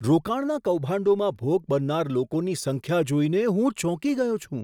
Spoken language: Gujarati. રોકાણના કૌભાંડોમાં ભોગ બનનાર લોકોની સંખ્યા જોઈને હું ચોંકી ગયો છું.